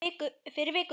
Fyrir viku.